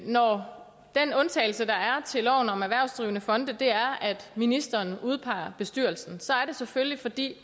når den undtagelse der er til loven om erhvervsdrivende fonde er at ministeren udpeger bestyrelsen at så er det selvfølgelig fordi